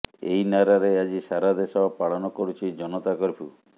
ଏହି ନାରାରେ ଆଜି ସାରା ଦେଶ ପାଳନ କରୁଛି ଜନତା କର୍ଫ୍ୟୁ